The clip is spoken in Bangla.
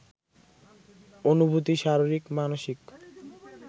অনুভূতি শারীরিক মানসিক